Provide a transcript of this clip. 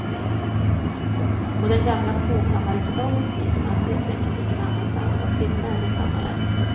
På den gamla tvåkammarriksdagens tid fanns helt enkelt ingen annanstans att sitta än i kammaren.